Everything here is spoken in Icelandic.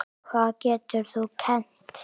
Hvað getur þú kennt?